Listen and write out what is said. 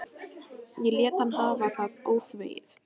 Ég lét hann hafa það óþvegið.